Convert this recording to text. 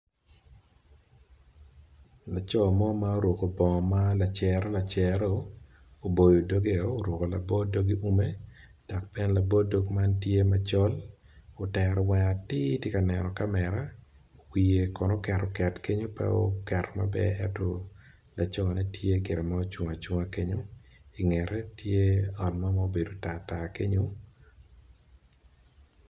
Laco mo ma oruko bongo ma lacero lacero oboyo doge o oruko labo dog i ume dog bene labo dog man tye macol otero wange atir tye ka neno kamera wiye kono oket oket kenyo pe oketo maber ento lacone tye gire ma ocung acunga ingete tye ot mo ma obedo tar tar kenyo.